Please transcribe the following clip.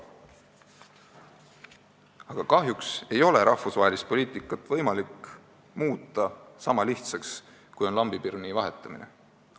Aga kahjuks ei ole rahvusvahelist poliitikat võimalik muuta sama lihtsaks, kui on lambipirni vahetamine.